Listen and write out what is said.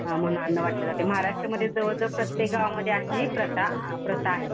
म्हणून अन्न वाटले जाते. महाराष्ट्रमध्ये जवळ जवळ प्रत्येक गावामध्ये अशी प्रथा, प्रथा आहे.